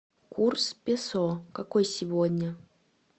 курс песо какой сегодня